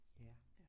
Ja